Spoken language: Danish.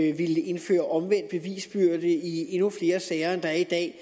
at ville indføre omvendt bevisbyrde i endnu flere sager end der er i dag